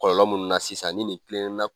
Kɔlɔlɔ minnu na sisan ni nin tilenna